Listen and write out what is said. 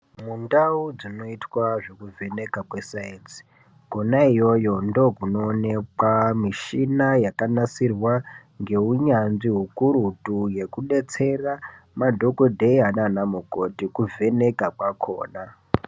Mundau dzinoitwe zvekuvheneka kwesainzi, kwena iyoyo ndokunoonekwa mishina yakanasirwa ngeunyanzvi ukurutu yekudetsera madhogodheya nanamukoti kuvheneka kwakhona.